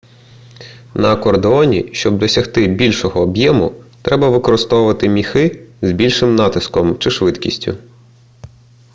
на акордеоні щоб досягти більшого об'єму треба використовувати міхи з більшим натиском чи швидкістю